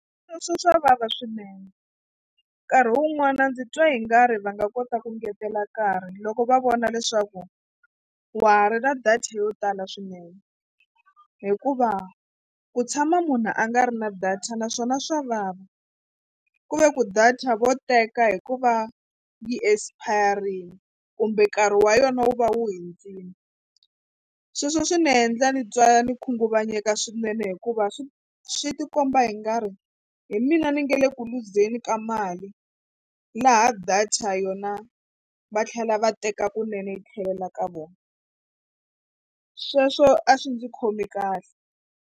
Sweswo swa vava swinene nkarhi wun'wani ndzi twa i nga ri va nga kota ku ngetela nkarhi loko va vona leswaku wa ha ri na data yo tala swinene hikuva ku tshama munhu a nga ri na data naswona swa vava ku ve ku data vo teka hi ku va yi expire-ile kumbe nkarhi wa yona wu va wu hundzile. Sweswo swi ni endla ni twa ndzi khunguvanyeka swinene hikuva swi swi tikomba i nga ri hi mina ni nge le ku luzeni ka mali laha data yona va tlhela va teka kunene yi tlhelela ka vona sweswo a swi ndzi khomi kahle.